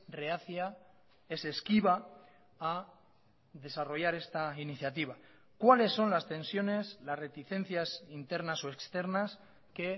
reacia es esquiva a desarrollar esta iniciativa cuáles son las tensiones las reticencias internas o externas que